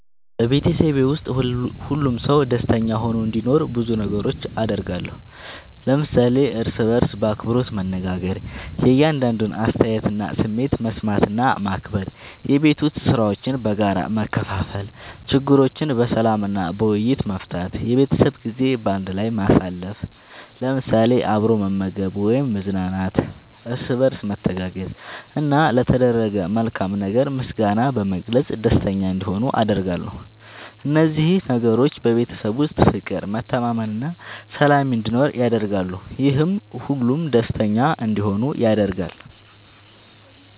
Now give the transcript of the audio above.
በቤተሰቤ ውስጥ ሁሉም ሰው ደስተኛ ሆኖ እንዲኖር ብዙ ነገሮችን አደርጋለሁ።። ለምሳሌ፦ እርስ በርስ በአክብሮት መነጋገር። የእያንዳንዱን አስተያየትና ስሜት መስማት እና ማክበር፣ የቤት ዉስጥ ሥራዎችን በጋራ መከፋፈል፣ ችግሮችን በሰላም እና በውይይት መፍታት፣ የቤተሰብ ጊዜ በአንድ ላይ ማሳለፍ ለምሳሌ፦ አብሮ መመገብ ወይም መዝናናት፣ እርስ በርስ መተጋገዝ፣ እና ለተደረገ መልካም ነገር ምስጋና በመግለጽ ደስተኛ እንዲሆኑ አደርጋለሁ። እነዚህ ነገሮች በቤተሰብ ውስጥ ፍቅር፣ መተማመን እና ሰላም እንዲኖር ያደርጋሉ፤ ይህም ሁሉም ደስተኛ እንዲሆኑ ያደርጋል።